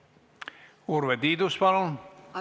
Urve Tiidus, palun!